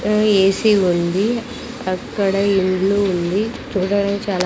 ఆ ఏసీ ఉంది అక్కడ ఇండ్లు ఉంది చాలా--